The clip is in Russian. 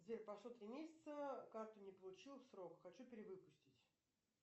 сбер прошло три месяца карту не получил в срок хочу перевыпустить